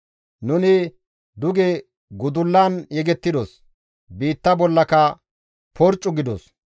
Nuni duge gudullan yegettidos; biitta bollaka porccu gidos.